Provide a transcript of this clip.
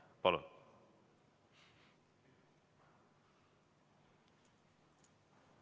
Palun!